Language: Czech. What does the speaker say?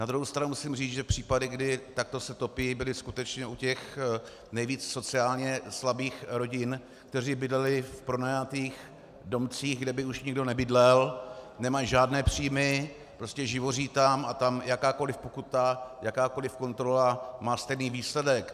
Na druhou stranu musím říct, že případy, kdy takto se topí, byly skutečně u těch nejvíc sociálně slabých rodin, které bydlely v pronajatých domcích, kde by už nikdo nebydlel, nemají žádné příjmy, prostě živoří tam a tam jakákoliv pokuta, jakákoliv kontrola má stejný výsledek.